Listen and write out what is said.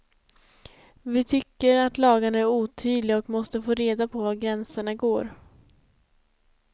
Vi tycker lagarna är otydliga och måste få reda på var gränserna går.